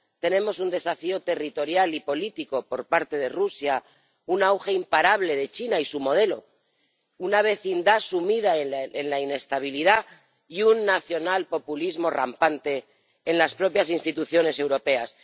Nos enfrentamos a un desafío territorial y político por parte de Rusia, un auge imparable de China y su modelo, una vecindad sumida en la inestabilidad y un nacionalpopulismo rampante en las propias instituciones europeas.